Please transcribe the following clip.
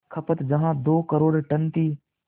खपत जहां दो करोड़ टन थी